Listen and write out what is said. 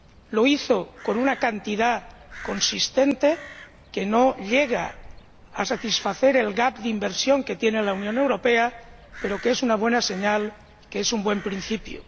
lo hizo con una cantidad consistente, que no llega a satisfacer el gap de inversión que tiene la Unión Europea, pero que es una buena señal, que es un buen principio.